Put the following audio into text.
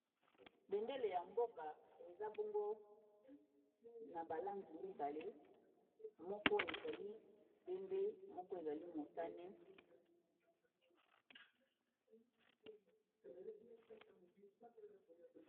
bendele ya mboka eza bongo na balangi bale moko ezali pembe moko ezali motane